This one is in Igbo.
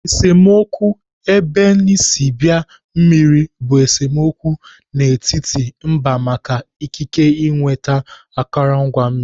Esemokwu ebenisibia mmiri bụ esemokwu dị n'etiti mba maka ikike ịnweta akụrụngwa mmiri.